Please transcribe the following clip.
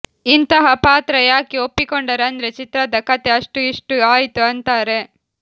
ಇಂತಹ ಪಾತ್ರ ಯಾಕೆ ಒಪ್ಪಿಕೊಂಡರು ಅಂದ್ರೆ ಚಿತ್ರದ ಕಥೆ ಅಷ್ಟು ಇಷ್ಟು ಆಯ್ತು ಅಂತಾರೆ